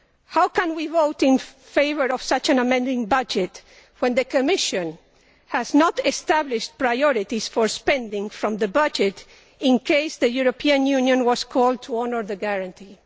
How can we vote in favour of such an amending budget when the Commission has not established priorities for spending from the budget in case the European Union is called to honour the guarantee?